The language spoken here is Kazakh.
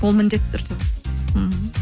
ол міндетті түрде мхм